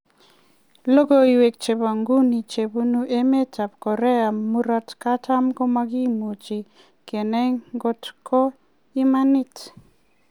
Logoiwek chebo nguno chebunu emet ab Korea murot katam ko makimuch kenai kotko imanit